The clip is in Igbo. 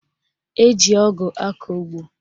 Eji ọgụ akọ ụgbọ